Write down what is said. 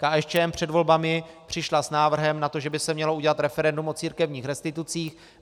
KSČM před volbami přišla s návrhem na to, že by se mělo udělat referendum o církevních restitucích.